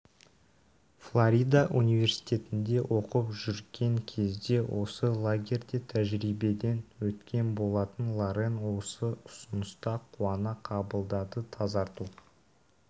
флорида университетінде оқып жүрген кезде осы лагерьде тәжірибеден өткен болатын лорен ол ұсынысты қуана қабылдады тазарту